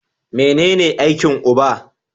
Mene ne aikin uba?